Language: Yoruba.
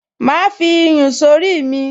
Màá fi iyùn sórí mi